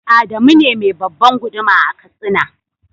Adamu ne me babban guduma a katsina.